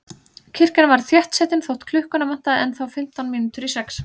Kirkjan var þéttsetin þótt klukkuna vantaði ennþá fimmtán mínútur í sex.